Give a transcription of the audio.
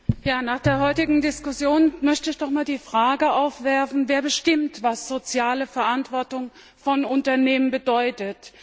Herr Präsident! Nach der heutigen Diskussion möchte ich doch einmal die Frage aufwerfen Wer bestimmt, was soziale Verantwortung von Unternehmen bedeutet?